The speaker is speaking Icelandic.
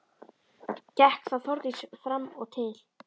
Gekk þá Þórdís fram og til